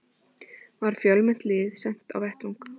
Var fjölmennt lið sent á vettvang